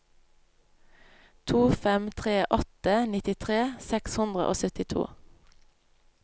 to fem tre åtte nittitre seks hundre og syttito